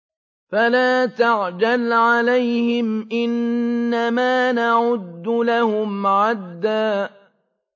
فَلَا تَعْجَلْ عَلَيْهِمْ ۖ إِنَّمَا نَعُدُّ لَهُمْ عَدًّا